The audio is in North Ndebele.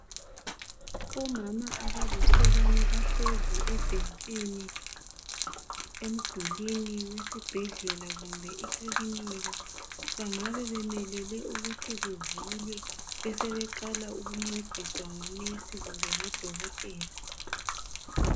Omama abalihlekana bahlezi ebhentshini emdulini wesibhedlela kumbe iklinini bangabe bemelele ukuthi kuvulwe besebeqala ukuncediswa ngonesi kumbe ngoDokotela.